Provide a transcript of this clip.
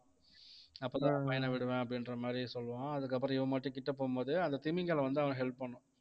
அப்பத்தான் பையனை விடுவேன் அப்படின்ற மாதிரி சொல்லுவான் அதுக்கப்புறம் இவன் மட்டும் கிட்ட போகும்போது அந்த திமிங்கலம் வந்து அவனுக்கு help பண்ணும்